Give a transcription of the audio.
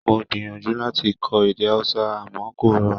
Mo gbìyànjú láti kọ́ èdè Hausa àmọ́ kò rọrùn.